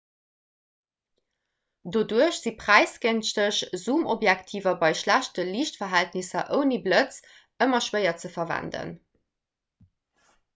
doduerch si präisgënschteg zoomobjektiver bei schlechte liichtverhältnisser ouni blëtz nëmme schwéier ze verwenden